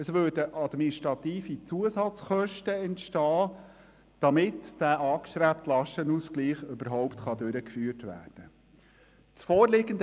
Es entstünden administrative Zusatzkosten, damit dieser angestrebte Lastenausgleich überhaupt durchgeführt werden kann.